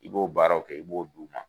I b'o baaraw kɛ , i b'o d'u ma.